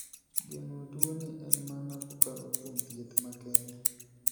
Geng'o tuo ni en mana kokalo kuom thieth makende.